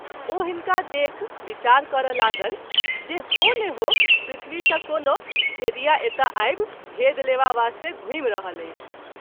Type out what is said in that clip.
ओ हिनका देखि विचार करय लागल जे हो न हो पृथ्वी सँ कोनो भेदिया एतय आबि भेद लेवा वास्ते घुमि रहल अछि।